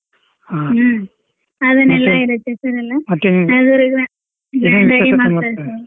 ಹಾ ಮತ್ತೆ .